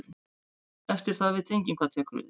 Eftir það veit enginn hvað tekur við.